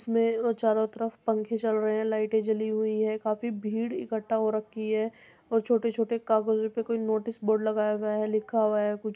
उसमें ओ चारो तरफ पंखे चल रहे हैं। लाइटें जली हुई है। काफ़ी भीड़ इकट्ठा हो रखी है और छोटे-छोटे कागजों पे कोई नोटिस बोर्ड लगाया गया है लिखा हुआ है कुछ --